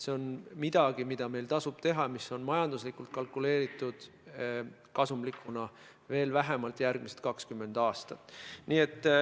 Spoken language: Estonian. See on midagi, mida meil tasub teha, mis on majanduslikult kalkuleeritud kasumlik olema veel vähemalt järgmised 20 aastat.